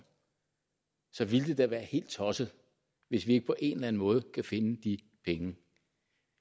ville det da være helt tosset hvis vi ikke på en eller anden måde kan finde de penge